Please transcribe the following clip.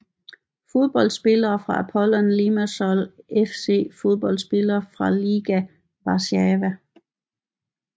Fodboldspillere fra Apollon Limassol FC Fodboldspillere fra Legia Warszawa